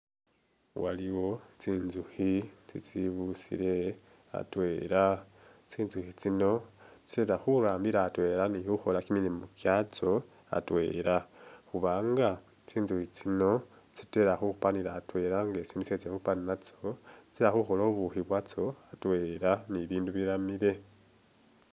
Waliwo tsintsukhi itsibusile atwela tsintsukhi tsino tsitala khurambila atwela ni khukhola kyimilimo kyantso atwela khuba nga tsintsukhi tsino khupanila atwela nga sindu shetsile khupana natso tsitala khukhola ubukhi bwatsyo atwela ni'bindu biramile